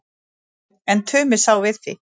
En Tumi sá við því.